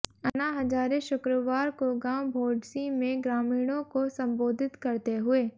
अन्ना हजारे शुक्रवार को गांव भौंडसी में ग्रामीणों को संबोधित करते हुए